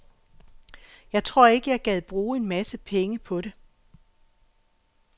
Jeg tror ikke, jeg gad bruge en masse penge på det.